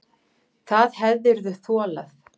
Það hefðirðu þolað.